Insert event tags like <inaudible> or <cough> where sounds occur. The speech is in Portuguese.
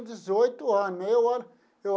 Dezoito ano. <unintelligible>